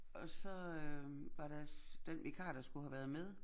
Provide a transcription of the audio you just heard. Og så øh var der den vikar der skulle have været med